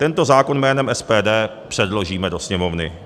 Tento zákon jménem SPD předložíme do Sněmovny.